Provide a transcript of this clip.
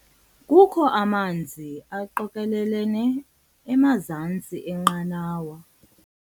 Kukho amanzi aqokelelene emazantsi enqanawa.